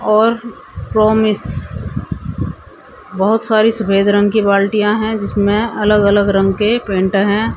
और प्रॉमिस बहोत सारी सफेद रंग की बाल्टिया हैं जिसमें अलग अलग रंग के पेंट हैं।